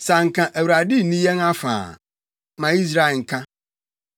Sɛ anka Awurade nni yɛn afa a, ma Israel nka,